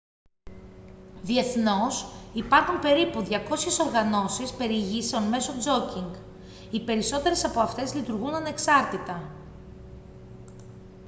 διεθνώς υπάρχουν περίπου 200 οργανώσεις περιηγήσεων μέσω τζόκινγκ οι περισσότερες από αυτές λειτουργούν ανεξάρτητα